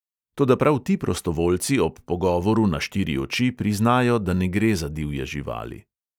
Toda prav ti prostovoljci ob pogovoru na štiri oči priznajo, da ne gre za divje živali.